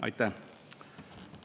Aitäh!